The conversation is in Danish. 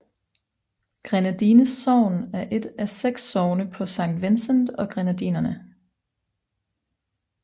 Grenadines sogn er et af seks sogne på Saint Vincent og Grenadinerne